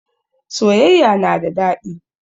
Soyayya na da daɗi